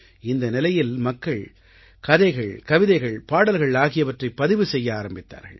இந்த நிலையில் மக்கள் கதைகள் கவிதைகள் பாடல்கள் ஆகியவற்றைப் பதிவு செய்ய ஆரம்பித்தார்கள்